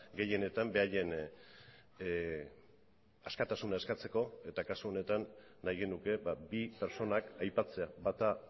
gehienetan beraien askatasuna eskatzeko eta kasu honetan nahi genuke bi pertsonak aipatzea bata